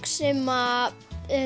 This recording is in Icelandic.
sem